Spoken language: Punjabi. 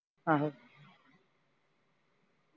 ਆਹੋ